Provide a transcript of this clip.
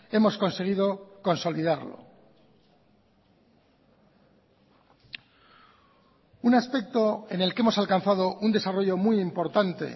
hemos conseguido consolidarlo un aspecto en el que hemos alcanzado un desarrollo muy importante